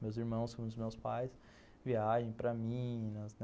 Meus irmãos, como os meus pais, viajam para Minas.